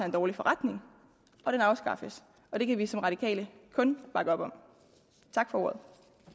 en dårlig forretning og den afskaffes det kan vi som radikale kun bakke op om tak for ordet